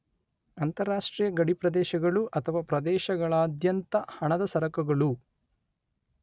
ಅಂತಾರಾಷ್ಟ್ರೀಯ ಗಡಿಪ್ರದೇಶಗಳು ಅಥವಾ ಪ್ರದೇಶಗಳಾದ್ಯಂತ ಹಣದ ಸರಕುಗಳು